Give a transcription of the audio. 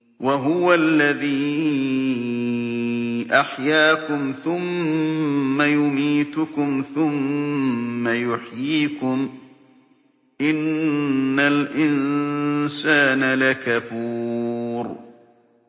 وَهُوَ الَّذِي أَحْيَاكُمْ ثُمَّ يُمِيتُكُمْ ثُمَّ يُحْيِيكُمْ ۗ إِنَّ الْإِنسَانَ لَكَفُورٌ